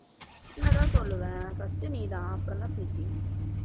உன்னைத்தான் சொல்லுவேன் first நீ தான் அப்புறம்தான் பிரீத்தி